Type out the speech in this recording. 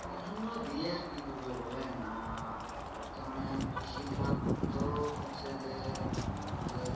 প্রাধান্য দিয়ে আর কি করবে বলেন আহ বর্তমানে কৃষি খাত তো হচ্ছে যে আহ আমাদের